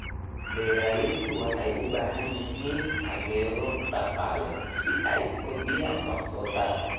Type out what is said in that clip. Beeraleydu waxay u baahan yihiin taageero dhaqaale si ay u kordhiyaan wax soo saarka.